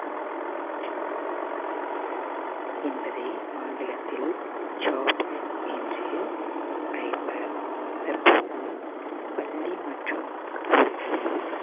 என்பதை ஆங்கிலத்தில் jobs என்று அழைப்பர் தற்பொழுது பள்ளி மற்றும் கல்லூரிகளில்